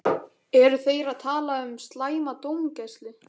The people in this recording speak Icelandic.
Eru þeir að tala um slæma dómgæslu?